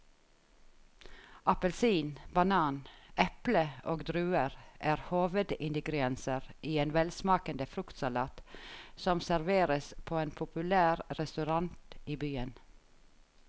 Appelsin, banan, eple og druer er hovedingredienser i en velsmakende fruktsalat som serveres på en populær restaurant i byen.